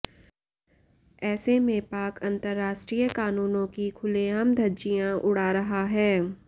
ऐसे में पाक अंतरराष्ट्रीय कानूनों की खुलेआम धज्जियां उड़ा रहा है